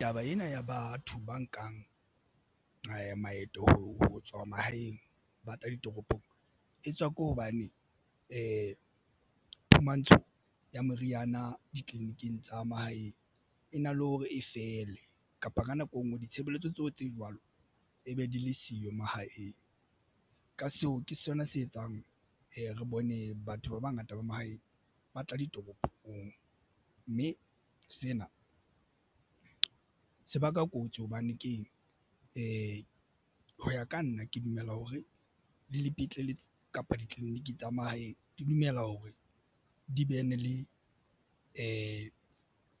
Taba ena ya batho ba nkang maeto ho tswa mahaeng ba tla ditoropong e tswa ke hobane phumantsho ya meriana ditleliniking tsa mahaeng e na le hore e fele kapa ka nako engwe ditshebeletso tseo tse jwalo e be di le siyo mahaeng ka seo ke sona se etsang e re bone batho ba bangata ba mahaeng ba tla ditoropong mme sena se baka kotsi hobane keng e ho ya ka nna ke dumela hore le dipetlele kapa ditleliniki tsa mahaeng di dumela hore di bene le